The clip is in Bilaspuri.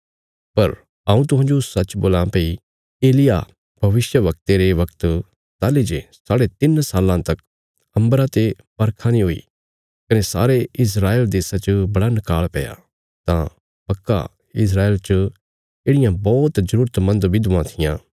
पर हऊँ तुहांजो सच्च बोल्लां भई एलिय्याह भविष्यवक्ते रे बगत ताहली जे साढ़े तिन्न साल्लां तक अम्बरा ते बरखा नीं हुई कने सारे इस्रायल देशा च बड़ा नकाल़ पैया तां पक्का इस्राएल च येढ़ियां बौहत जरूरत मन्द विधवां थिआं